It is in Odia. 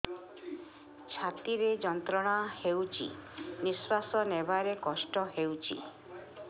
ଛାତି ରେ ଯନ୍ତ୍ରଣା ହେଉଛି ନିଶ୍ଵାସ ନେବାର କଷ୍ଟ ହେଉଛି